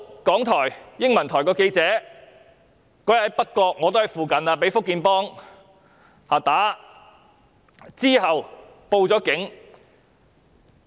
港台英文台有記者當天在北角——我自己亦身在附近——被"福建幫"毆打，其後報警。